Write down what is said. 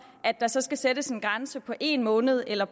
at der så skal sættes en grænse på en måned eller